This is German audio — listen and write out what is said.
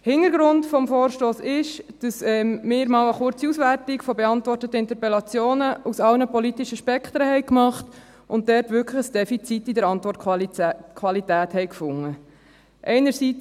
Hintergrund des Vorstosses ist, dass wir einmal eine kurze Auswertung von beantworteten Interpellationen aus allen politischen Spektren gemacht haben und dort wirklich ein Defizit in der Antwortqualität gefunden haben.